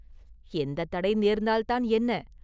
எந்தத் தடை நேர்ந்தால்தான் என்ன?